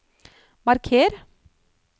marker